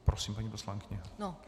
Prosím, paní poslankyně.